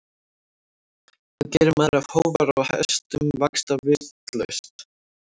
Hvað gerir maður ef hófar á hestum vaxa vitlaust?